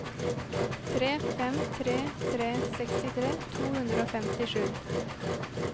tre fem tre tre sekstitre to hundre og femtisju